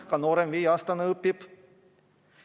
Ka noorem laps, see viieaastane, õpib.